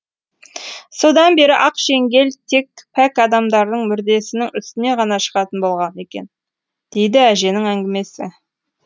содан бері ақ шеңгел тек пәк адамдардың мүрдесінің үстіне ғана шығатын болған екен дейді әженің әңгімесі